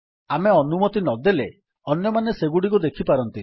ଆମେ ଅନୁମତି ନଦେଲେ ଅନ୍ୟମାନେ ସେଗୁଡିକୁ ଦେଖିପାରନ୍ତିନି